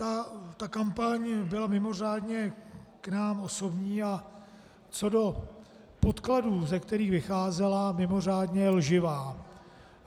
Ta kampaň byla mimořádně k nám osobní a co do podkladů, z kterých vycházela, mimořádně lživá.